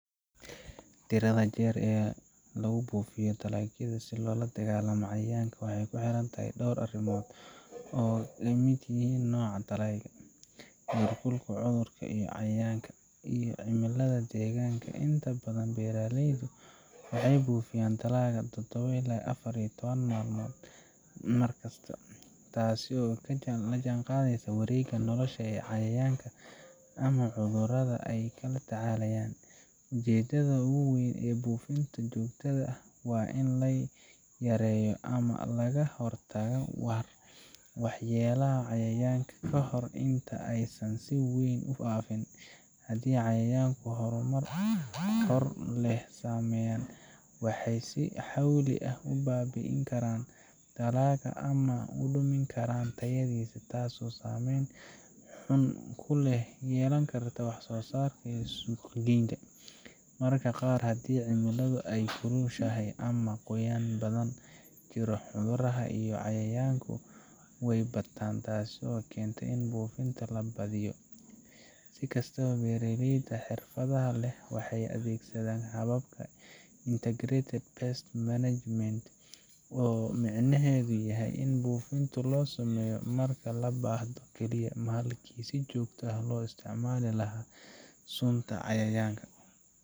Tirada jeer ee lagu buufiyo dalagyada si loola dagaallamo cayayaanka waxay ku xiran tahay dhowr arrimood oo ay ka mid yihiin nooca dalagga, heerka cudurrada iyo cayayaanka, iyo cimilada deegaanka. Inta badan, beeraleyda waxay buufiyaa dalagga todobo ilaa afar iyo toban maalmood kasta, taas oo la jaanqaadaysa wareegga nolosha ee cayayaanka ama cudurrada ay la tacaalayaan. Ujeeddada ugu weyn ee buufinta joogtada ah waa in la yareeyo ama laga hortago waxyeellada cayayaanka kahor inta aysan si weyn u faafin. Haddii cayayaanku horumar hor leh sameeyaan, waxay si xawli ah u baabi’in karaan dalagga ama u dhimi karaan tayadiisa, taasoo saameyn xun ku yeelan karta wax-soosaarka iyo suuqgeynta. Mararka qaar, haddii cimiladu ay kulushahay ama qoyaan badani jiro, cudurrada iyo cayayaanku way bataan, taas oo keenta in buufinta la badiyo. Si kastaba, beeraleyda xirfadda leh waxay adeegsadaan habka Integrated Pest Management oo micnaheedu yahay in buufinta la sameeyo marka loo baahdo kaliya, halkii si joogto ah loo isticmaali lahaa sunta cayayaanka